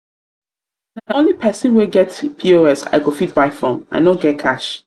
na only pesin wey get pos i go fit buy from i no get cash.